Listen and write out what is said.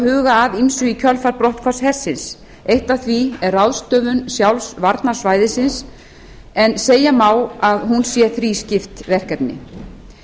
huga að ýmsu í kjölfar brotthvarfs hersins eitt af því er ráðstöfun sjálfs varnarsvæðisins en segja má að hún sé þrískipt verkefni